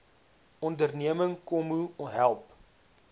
onderneming kmmo help